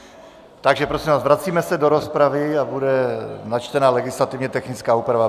Takže prosím vás, vracíme se do rozpravy a bude načtena legislativně technická úprava.